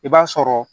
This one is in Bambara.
I b'a sɔrɔ